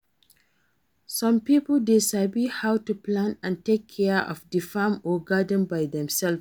Some pipo de sabi how to plant and take care di farm or garden by dem selves